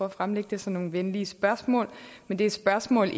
at fremlægge det som nogle venlige spørgsmål men det er spørgsmål